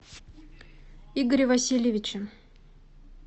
игоре васильевиче